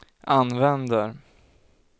använder